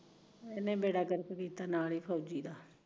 ਇਹਨੇ ਬੇੜਾ ਗਰਕ ਕੀਤਾ ਐ ਨਾਲ ਫੋਜੀ ਦੈ